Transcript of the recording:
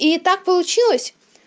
и так получилось